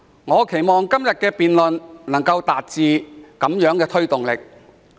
我期望今天的辯論能夠為政府帶來推動力。